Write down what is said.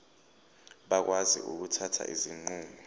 bakwazi ukuthatha izinqumo